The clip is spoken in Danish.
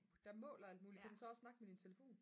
der måler alt muligt kan den så også snakke med din telefon?